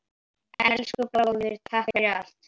Elsku bróðir, takk fyrir allt.